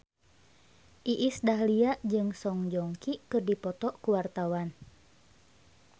Iis Dahlia jeung Song Joong Ki keur dipoto ku wartawan